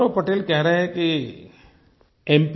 गौरव पटेल कह रहे हैं कि mप